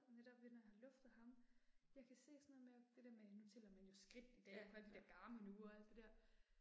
Netop ved når jeg har luftet ham, jeg kan se sådan noget med, det der med nu tæller man jo skridt i dag med de der Garmin ure og alt det der